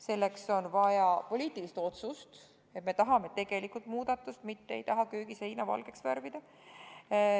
Selleks on vaja poliitilist otsust, et me tahame tegelikult muudatust, mitte ei taha köögiseina valgeks värvida.